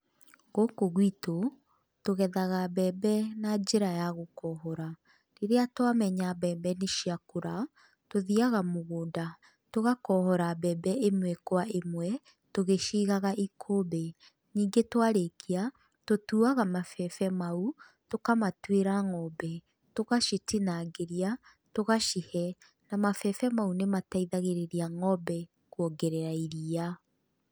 Gũkũ gwitũ tũgethaga mbembe na njĩra ya gũkohora, rĩrĩa twa menya mbembe nĩ ciakũra, tũthiaga mũgũnda, tũgakohora mbembe ĩmwe kwa ĩmwe, tũgĩcigaga ikũmbĩ, ningĩ twarĩkia, tũtuaga mabebe mau, tũkamatuĩra ng'ombe, tũgacitinangĩria, tũgacihe, na mabebe mau nĩmateithagĩrĩria ng'ombe kuongerera iria.